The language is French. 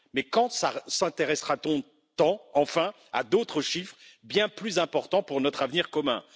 Mais quand s'intéressera t on enfin à d'autres chiffres bien plus importants pour notre avenir commun?